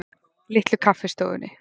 Litlu Kaffistofunni